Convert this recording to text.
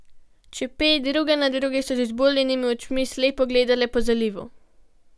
Čepe druga na drugi so z izbuljenimi očmi slepo gledale po zalivu.